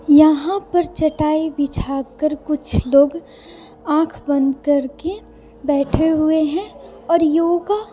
यहां पर चटाई बिछाकर कुछ लोग आंख बंद करके बैठे हुए हैं और योगा--